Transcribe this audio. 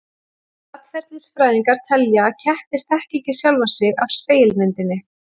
Atferlisfræðingar telja að kettir þekki ekki sjálfa sig af spegilmyndinni.